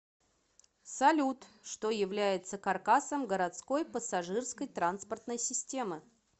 салют что является каркасом городской пассажирской транспортной системы